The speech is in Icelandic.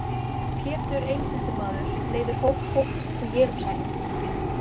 Pétur einsetumaður leiðir hóp fólks til Jerúsalem.